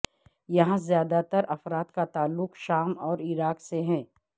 یہاں زیادہ تر افراد کا تعلق شام اور عراق سے ہے